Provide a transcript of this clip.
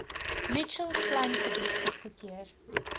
mitchells plaingebied goedgekeur